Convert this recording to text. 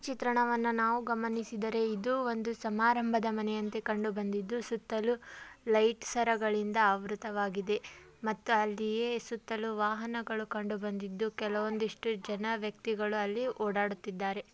ಈ ಚಿತ್ರಣವನ್ನ ನಾವು ಗಮನಿಸಿದರೆ ಇದು ಒಂದು ಸಮಾರಂಭದ ಮನೆಯಂತೆ ಕಂಡುಬಂದಿದ್ದು ಸುತ್ತಲೂ ಲೈಟ್ ಸರಗಳಿಂದ ಆವೃತಗೊಂಡಿದೆ ಮತ್ತೆ ಅಲ್ಲಿಯೇ ವಾಹನಗಳು ಕಂಡುಬಂದಿದ್ದು ಕೆಲವೊಂದಿಷ್ಟು ಜನ ವ್ಯಕ್ತಿಗಳು ಓಡಾಡುತ್ತಿದ್ದಾರೆ.